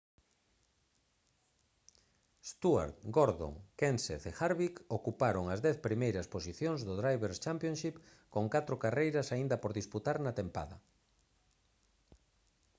stewart gordon kenseth e harvick ocuparon as dez primeiras posicións do drivers' championship con catro carreiras aínda por disputar na tempada